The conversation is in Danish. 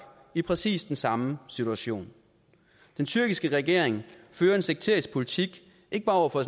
i præcis den samme situation den tyrkiske regering fører en sekterisk politik ikke bare over for